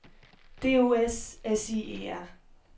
D O S S I E R